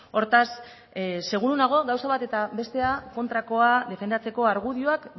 hortaz seguru nago gauza bat eta bestea kontrakoa defendatzeko argudioak